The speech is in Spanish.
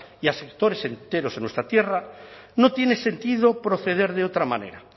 y a sectores enteros en nuestra tierra no tiene sentido proceder de otra manera